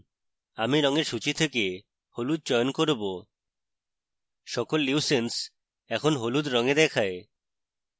আমি রঙের সূচী থেকে হলুদ চয়ন করব সকল leucines এখন হলুদ রঙে দেখায়